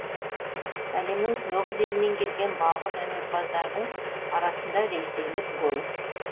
әлемнің тоғыз елінен келген балғын өнерпаздардың арасында ресейлік голос